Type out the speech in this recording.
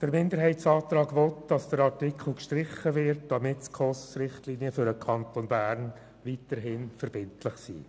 Der Minderheitsantrag soll bewirken, dass der Artikel gestrichen wird, damit die SKOS-Richtlinien für den Kanton Bern weiterhin verbindlich sind.